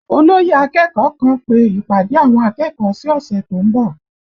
Olóyè akẹ́kọ̀ọ́ kan pe ìpàdé àwọn akẹ́kọ̀ọ́ sí ọ̀sẹ̀ tó ń bọ̀